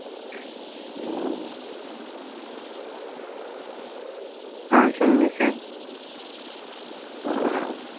ஆஹ் சொல்லுங்க sir